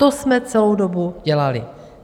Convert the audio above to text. To jsme celou dobu dělali.